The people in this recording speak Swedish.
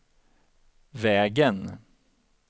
vägen